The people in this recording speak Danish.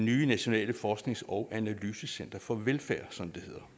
i det nationale forsknings og analysecenter for velfærd som det hedder